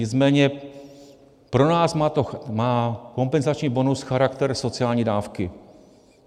Nicméně pro nás má kompenzační bonus charakter sociální dávky.